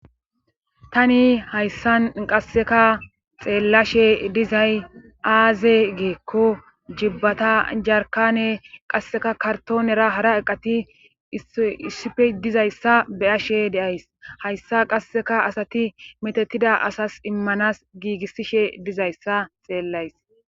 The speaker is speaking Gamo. Tani hayssan qasseka xeellashe dizay aaze geekko jibbata jarkane qasseka kartoonera hara eqati issife dizayssa be ashe deays hayssa qasseka asati metettida asas immanas giigissishe dizayssa xeellays.